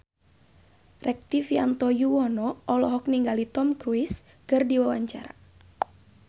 Rektivianto Yoewono olohok ningali Tom Cruise keur diwawancara